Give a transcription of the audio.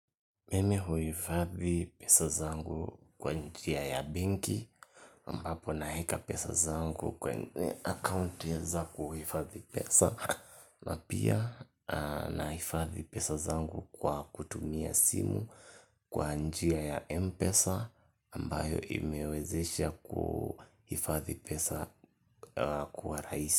Mimi huhifadhi pesa zangu kwa njia ya benki ambapo naweka pesa zangu kwenye akaunti za kuhifadhi pesa na pia nahifadhi pesa zangu kwa kutumia simu kwa njia ya Mpesa ambayo imewezesha kuhifadhi pesa kuwa rahisi.